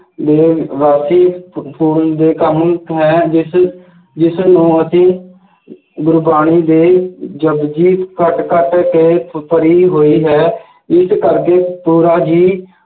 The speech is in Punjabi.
ਮਿਲੇ ਵਾਕਿਏ ਫ~ ਫੋਨ ਦੇ ਕੰਮ ਹੈ ਜਿਸ ਜਿਸਨੂੰ ਅਸੀਂ ਗੁਰਬਾਣੀ ਦੇ ਜਪੁਜੀ ਕੇ ਭਰੀ ਹੋਈ ਹੈ ਜਿਸ ਕਰਕੇ ਪੂਰਾ ਹੀ